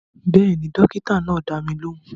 Bẹ́ẹ̀ni, dókítà náà dá mi lóhùn